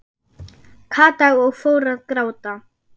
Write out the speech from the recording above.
Kata og fór að gráta.